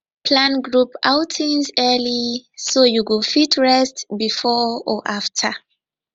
plan group outings early so you go fit rest before or after